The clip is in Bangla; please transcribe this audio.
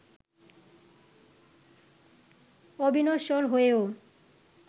অবিনশ্বর হয়েও